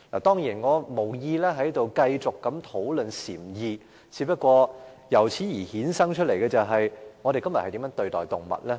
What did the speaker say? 當然，我無意在這裏繼續討論禪意，不過，由此衍生了一個問題：我們今天如何對待動物？